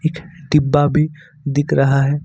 डिब्बा भी दिख रहा है।